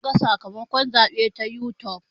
Za muga sakamakon zaɓe ta yutub